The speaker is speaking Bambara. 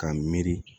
K'a miiri